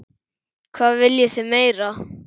Hvað viljið þið meira?